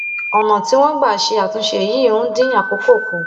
ọnà tí wọn gbà ṣe àtúnṣe yìí ń dín àkókò kù